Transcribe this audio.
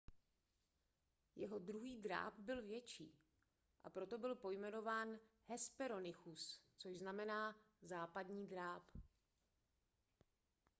jeho druhý dráp byl větší a proto byl pojmenován hesperonychus což znamená západní dráp